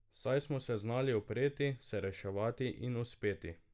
Saj smo se znali upreti, se reševati in uspeti.